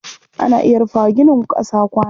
Ana iya rufa wa ginin ƙasa kwano.